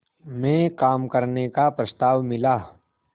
में काम करने का प्रस्ताव मिला